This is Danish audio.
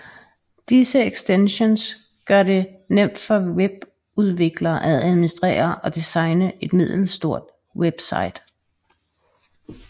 Disse ekstensions gør det nemt for webudviklere at administrere og designe et middelstort website